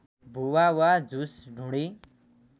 भुवा वा झुस ढुँडी